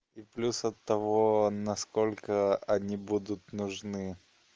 и плюс от того насколько они будут нужны